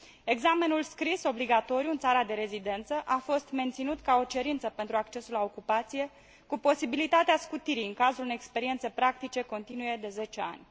Examenul scris obligatoriu în țara de rezidență a fost menținut ca o cerință pentru accesul la ocupație, cu posibilitatea scutirii în cazul unei experiențe practice continue de 10 ani.